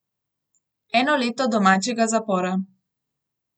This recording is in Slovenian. Eno leto domačega zapora.